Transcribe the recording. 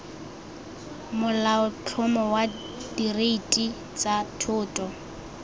molaotlhomo wa direiti tsa thoto